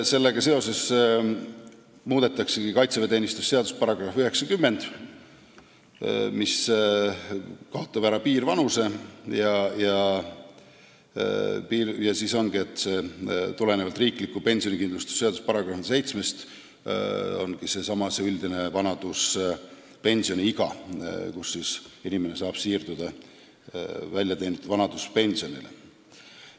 Sellega seoses muudetaksegi kaitseväeteenistuse seaduse § 90 ja siis ongi nii, et tulenevalt riikliku pensionikindlustuse seaduse §-st 7 on piirvanus seesama üldine vanaduspensioniiga, mille saabudes saab inimene siirduda väljateenitud vanaduspensionile.